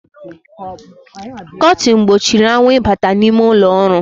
Kọtin gbochiri anwụ ịbata n’ime ụlọọrụ